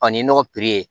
Ɔ ni nɔgɔ ye